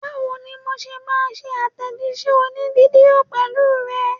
Báwo ni mo ṣe máa ṣe àtẹ̀jíṣẹ́ òní fídíò pẹ̀lú ẹ?